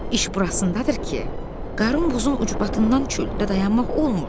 İş burasındadır ki, qarın buzun ucbatından çöldə dayanmaq olmur.